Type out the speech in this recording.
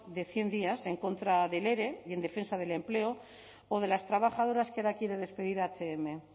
de cien días en contra del ere y en defensa del empleo o de las trabajadoras que ahora quiere despedir hmil